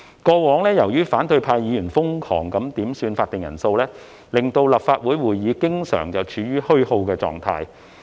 過往，由於反對派議員瘋狂點算法定人數，令立法會會議經常處於虛耗的狀態。